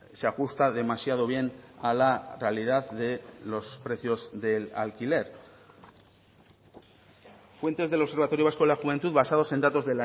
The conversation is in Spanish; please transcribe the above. se ajusta demasiado bien a la realidad de los precios del alquiler fuentes del observatorio vasco de la juventud basados en datos